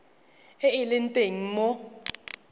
e e leng teng mo